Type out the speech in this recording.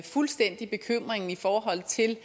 fuldstændig bekymringen i forhold til